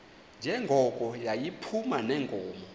njengoko yayiphuma neenkomo